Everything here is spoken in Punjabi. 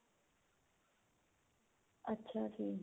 ਅੱਛਾ ਜੀ